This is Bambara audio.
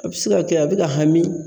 A be se ka kɛ a be ka hami